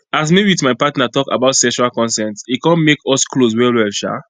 as me with my partner talk about sexual consent e come make us close well well um